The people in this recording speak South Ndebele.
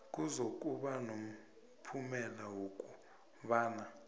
kuzokuba nomphumela wokobana